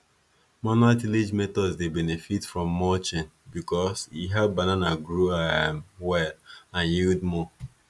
manual tillage methods dey benefit from mulching because e help banana grow um well and yield more